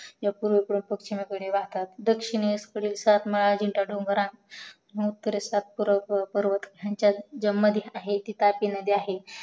त्या पूर्वे कडून पचिमेकडे वाहतात दक्षिणेकडील सातमाला जीनचा डोंगर मंग उत्तरे कडे सातपुडा जंगल जी मधी आहे ती तापी नदी आहे